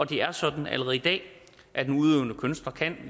det er sådan allerede i dag at en udøvende kunstner